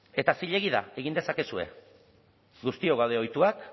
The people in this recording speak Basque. eta zilegi da egin dezakezue guztiok gaude ohituak